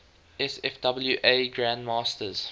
sfwa grand masters